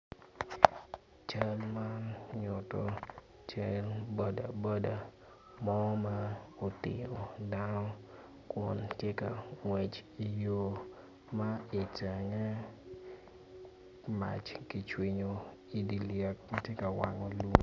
Cal man tye ka nyuto bodaboda ma otingo dano tye ka ngwec ki i yo ma itenge mac kicwinyo i dye lyek ma tye ka wang.